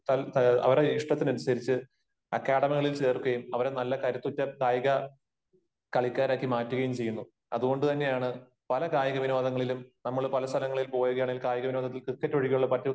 അവരുടെ ഇഷ്ടത്തിനനുസരിച്ച് അക്കാദമികളിൽ ചേർക്കുകയും അവരെ നല്ല കരുത്തുറ്റ കായിക കളിക്കാരാക്കി മാറ്റുകയും ചെയ്യുന്നു . അത്കൊണ്ട് തന്നെയാണ് പല കായിക വിനോദങ്ങളിലും നമ്മൾ പല സ്ഥലങ്ങളിൽ പോകുകയാണെങ്കിൽ കായിക വിനോദങ്ങളിൽ ക്രിക്കറ്റ് ഒഴികെയുള്ള മറ്റ്